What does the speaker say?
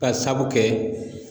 Ka sabu kɛ